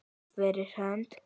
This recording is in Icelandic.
Fyrir hönd.